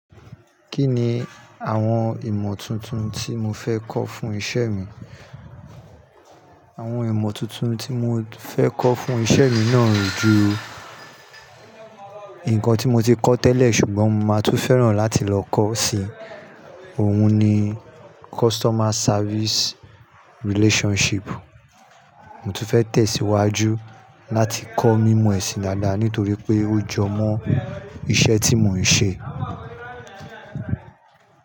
Kí ni àwọn ìmọ̀ tuntun tí mo fẹ́ kọ́ fún isẹ́ mi? Àwọn ìmọ̀ tuntun tí mo fẹ́ kọ́ fún isẹ́ mi náà o ju nǹkan tí mo ti kọ́ tẹ́lẹ̀ ṣùgbọ́n mo máa tún fẹ́ràn láti lọ kó si, òun ni customer service relationship. Mo tún fẹ́ tẹ̀síwájú láti kọ́ mímọ̀ ẹ̀sìn dáadáa nítorí pé ó jọ mọ́ iṣẹ́ tí mò ń ṣe.